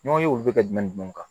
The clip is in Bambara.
N'o ye olu bɛ ka jumɛnw kan